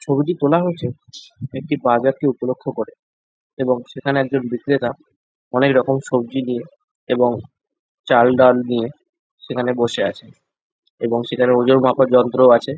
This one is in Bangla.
ছবিটি তোলা হয়েছে একটি বাজারকে উপলক্ষ করে এবং সেখানে একজন বিক্রেতা অনেকরকম সবজি নিয়ে এবং চালডাল নিয়ে সেখানে বসে আছে এবং সেখানে ওজন মাপার যন্ত্রও আছে।